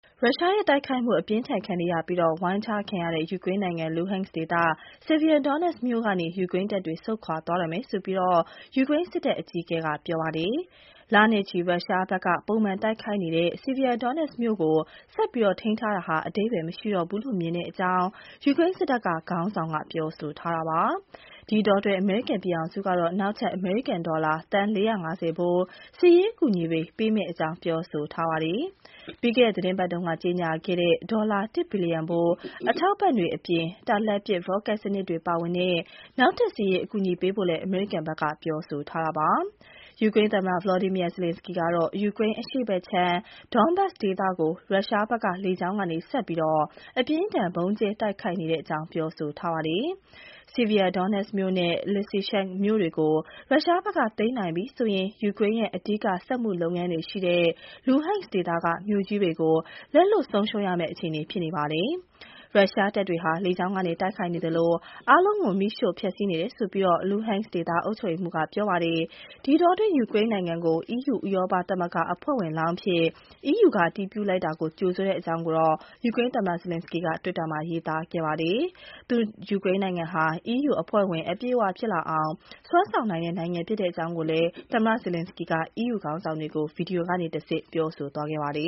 ရုရှားရဲ့ တိုက်ခိုက်မှု အပြင်းအထန် ခံနေရပြီး ဝိုင်းထားခံရတဲ့ ယူကရိန်းနိုင်ငံ Luhansk ဒေသ Sievierodonetsk မြို့ကနေ ယူကရိန်းတပ်တွေ ဆုတ်ခွာသွားတော့မယ်လို့ ယူကရိန်းစစ်တပ်အကြီးအကဲက ပြောပါတယ်။ လနဲ့ချီ ရုရှားဘက်က ပုံမှန်တိုက်ခိုက်နေတဲ့ Sievierodonetsk မြို့ကို ဆက်ပြီး ထိန်းထားတာဟာ အဓိပ္ပါယ် မရှိတော့ဘူးလို့ မြင်တဲ့အကြောင်း ယူကရိန်း စစ်တပ်က ခေါင်းဆောင်က ပြောဆိုတာပါ။ ဒီအတောအတွင်း အမေရိကန်ပြည်ထောင်စုကတော့ နောက်ထပ် အမေရိကန် ဒေါ်လာ သန်း ၄၅၀ ဘိုး စစ်ရေးအကူအညီတွေ ပေးမယ့်အကြောင်း ပြောပါတယ်။ ပြီးခဲ့တဲ့ သီတင်းပတ်က ကြေညာခဲ့တဲ့ ဒေါ်လာ တစ် ဘီလျံဖိုး အထောက်အပံ့တွေအပြင် တာလတ်ပစ် ရော့ကက် စနစ်တွေ ပါဝင်တဲ့ နောက်ထပ် စစ်ရေးအကူအညီပေးဖို့ အမေရိကန်ပြည်ထောင်စုဘက်က ပြောဆိုတာပါ။ ယူကရိန်း သမ္မတ Volodymyar Zelenskyy ကတော့ ယူကရိန်း အရှေ့ဘက်ခြမ်း Donbas ဒေသကို ရုရှားဘက်က လေကြောင်းကနေ ဆက်ပြီး အပြင်းအထန် ဗုံးကြဲတိုက်ခိုက်နေတဲ့ အကြောင်း ပြောဆိုပါတယ်။ Sievierodonetsk မြို့နဲ့ Lysychansk မြို့တွေကို ရုရှားဘက်က သိမ်းနိုင်ပြီဆိုရင် ယူကရိန်းရဲ့ အဓိက စက်မှု လုပ်ငန်းတွေ ရှိတဲ့ Luhansk ဒေသက မြို့ကြီးတွေကို လက်လွှတ်ဆုံးရှုံးမယ့် အခြေအနေ ဖြစ်ပါတယ်။ ရုရှားတပ်တွေဟာ လေကြောင်းက တိုက်ခိုက်နေသလို အားလုံးကို မီးရှို့ဖျက်ဆီးနေတယ်လို့ Lukansk ဒေသ အုပ်ချုပ်ရေးမှူးက ပြောဆိုပါတယ်။ ဒီအတောအတွင်း ယူကရိန်းနိုင်ငံကို EU ဥရောပ သမဂ္ဂအဖွဲ့ဝင်လောင်းအဖြစ် အီးယူက အတည်ပြုလိုက်တာကို ကြိုဆိုတဲ့အကြောင်း ယူကရိန်း သမ္မတ Zelenskyy က တွစ်တာမှာ ရေးပါတယ်။ သူ့နိုင်ငံဟာ အီးယူအဖွဲ့ဝင် အပြည့်အ၀ ဖြစ်လာအောင် စွမ်းဆောင်နိုင်တဲ့ နိုင်ငံဖြစ်ပါတယ်လို့လည်း သမ္မတ Zelenskyy က အီးယူခေါင်းဆောင်တွေကို ဗွီဒီယိုကတဆင့် ပြောဆိုခဲ့ပါတယ